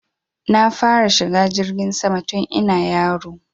Na fara shiga jirgin sama tun ina yaro